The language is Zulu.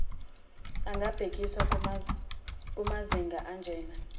angabhekisa kumazinga anjena